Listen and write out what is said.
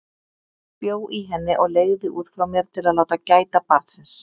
Ég bjó í henni og leigði út frá mér til að láta gæta barnsins.